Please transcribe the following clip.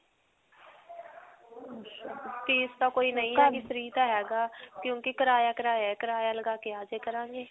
fees ਤਾਂ ਕੋਈ ਨਹੀਂ ਹੈਗੀ free ਤਾਂ ਹੈਗਾ ਕਿਉਂਕਿ ਕਰਾਇਆ, ਕਰਾਇਆ ਹੀ ਹੈ. ਕਰਾਇਆ ਲਗਾ ਕੇ ਆਜਾ ਕਰਾਂਗੇ.